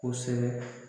Kosɛbɛ